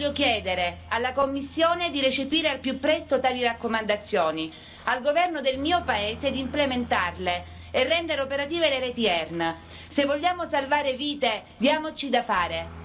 A nome dei cittadini e dei pazienti italiani voglio chiedere alla Commissione di recepire al più presto tali raccomandazioni e al governo del mio paese di implementarle e di rendere operative le reti ERN.